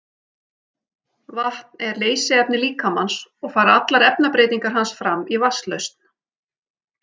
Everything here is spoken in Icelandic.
Vatn er leysiefni líkamans og fara allar efnabreytingar hans fram í vatnslausn.